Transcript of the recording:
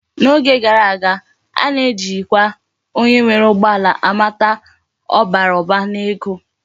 N'oge gara aga, a na ejikwa onye nwere ugbo ala amata na obara Uba na ego